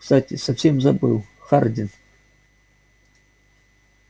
кстати совсем забыл хардин